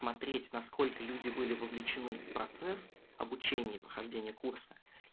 смотреть насколько люди были вовлечены в процесс обучения и прохождения курса